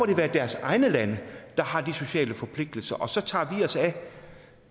det være deres egne lande der har de sociale forpligtelser og så tager vi os